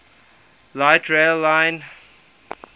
light rail line